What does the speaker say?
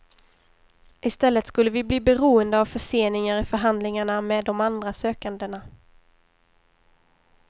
I stället skulle vi bli beroende av förseningar i förhandlingarna med de andra sökandena.